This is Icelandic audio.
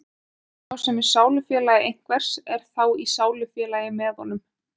Sá sem er sálufélagi einhvers er þá í sálufélagi með honum.